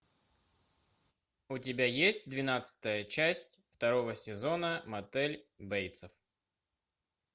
у тебя есть двенадцатая часть второго сезона мотель бейтсов